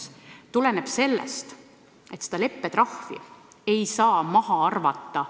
See tuleneb sellest, et seda leppetrahvi ei saa maha arvata.